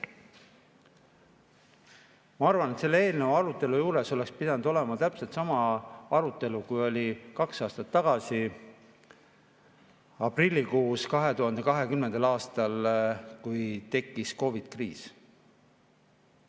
Ma arvan, et selle eelnõu arutelu juures oleks pidanud olema täpselt sama arutelu, mis oli kaks aastat tagasi, 2020. aastal aprillikuus, kui tekkis COVID-i kriis.